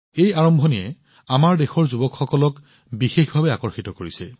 এই আৰম্ভণিয়ে আমাৰ দেশৰ যুৱসকলক বিশেষকৈ আকৰ্ষিত কৰিছে